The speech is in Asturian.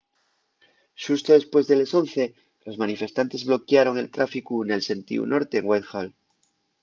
xusto depués de les 11:00 los manifestantes bloquiaron el tráficu nel sentíu norte en whitehall